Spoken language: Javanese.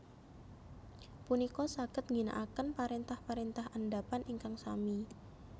punika saged ngginakaken parentah parentah andhapan ingkang sami